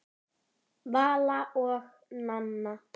Vala og Nanna.